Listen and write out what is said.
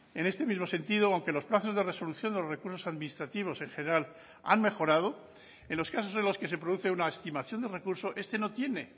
en este mismo sentido aunque los plazos de resolución de los recursos administrativos en general han mejorado en los casos en los que se produce una estimación de recurso este no tiene